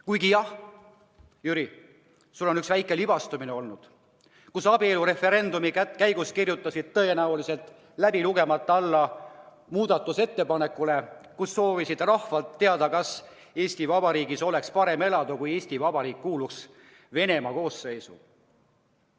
Kuigi jah, Jüri, sul on üks väike libastumine olnud: abielureferendumi eelnõu puhul kirjutasid sa tõenäoliselt läbi lugemata alla muudatusettepanekule küsida rahvalt, kas Eesti Vabariigis oleks parem elada, kui Eesti Vabariik kuuluks Venemaa koosseisu.